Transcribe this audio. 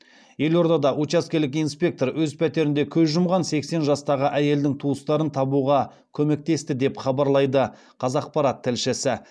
елордада учаскелік инспектор өз пәтерінде көз жұмған сексен жастағы әйелдің туыстарын табуға көмектесті деп хабарлайды қазақпарат тілшісі